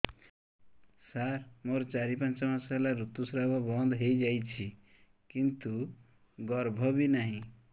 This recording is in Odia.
ସାର ମୋର ଚାରି ପାଞ୍ଚ ମାସ ହେଲା ଋତୁସ୍ରାବ ବନ୍ଦ ହେଇଯାଇଛି କିନ୍ତୁ ଗର୍ଭ ବି ନାହିଁ